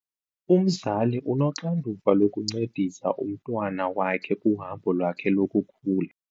Umzali unoxanduva lokuncedisa umntwana wakhe kuhambo lwakhe lokukhula.